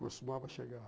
Costumava chegar.